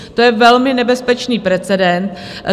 To je velmi nebezpečný precedent.